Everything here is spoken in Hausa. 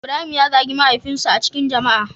Ibrahim ya zagi mahaifin sa a cikin jama'a.